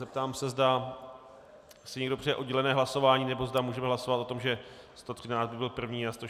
Zeptám se, zda si někdo přeje oddělené hlasování, nebo zda můžeme hlasovat o tom, že 113 by byl první a 161 druhý.